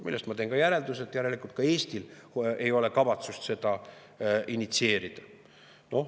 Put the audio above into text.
Sellest ma teen järelduse, et järelikult ei ole Eestil kavatsust seda initsieerida.